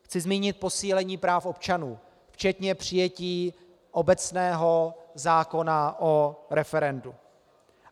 Chci zmínit posílení práv občanů včetně přijetí obecného zákona o referendu.